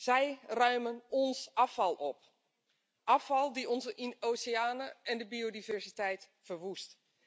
Zij ruimen ons afval op, afval dat onze oceanen en de biodiversiteit verwoest.